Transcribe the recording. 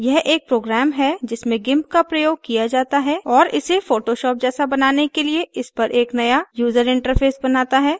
यह एक program है जिसमें gimp का प्रयोग किया जाता है और इसे photoshop जैसा बनाने के लिए इस पर एक नया यूजर interface बनाता है